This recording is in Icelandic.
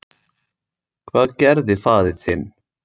Hvað gerði faðir þinn?